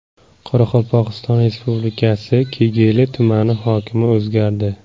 Qoraqalpog‘iston Respublikasi Kegeyli tumani hokimi o‘zgardi.